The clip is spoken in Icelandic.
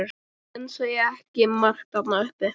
Menn segja ekki margt þarna uppi.